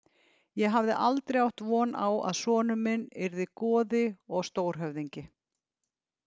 Ég hafði aldrei átt von á að sonur minn yrði goði og stórhöfðingi.